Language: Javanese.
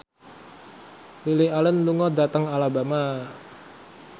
Lily Allen lunga dhateng Alabama